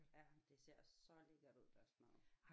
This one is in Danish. Ja det ser også så lækkert ud deres mad